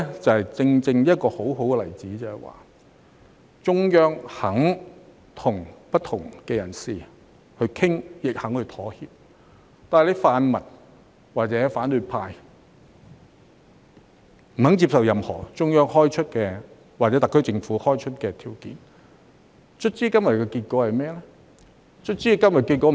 這正正是一個很好的例子，說明中央肯與不同的人士討論，亦肯作出妥協，但泛民或反對派卻不接受任何中央開出或特區政府開出的條件，最終今天有何結果？